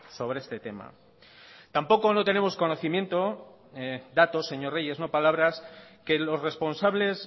sobre este tema tampoco no tenemos conocimiento datos señor reyes no palabras que los responsables